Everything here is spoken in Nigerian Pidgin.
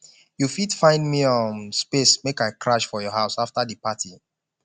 you fit find me um space make i crash for your house afta di party